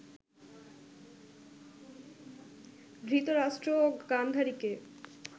ধৃতরাষ্ট্র ও গান্ধারীকে